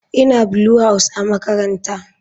Ina Blue house a makarantara.